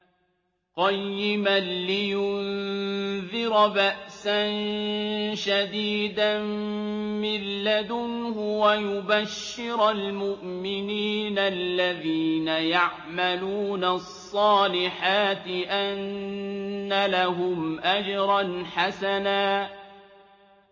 قَيِّمًا لِّيُنذِرَ بَأْسًا شَدِيدًا مِّن لَّدُنْهُ وَيُبَشِّرَ الْمُؤْمِنِينَ الَّذِينَ يَعْمَلُونَ الصَّالِحَاتِ أَنَّ لَهُمْ أَجْرًا حَسَنًا